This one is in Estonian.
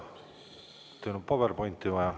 Kas teil on PowerPointi vaja?